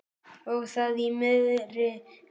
Og það í miðri viku.